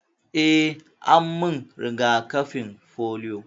Eh, an min riga-kafin polio.